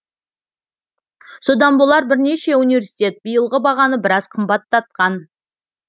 содан болар бірнеше университет биылғы бағаны біраз қымбаттатқан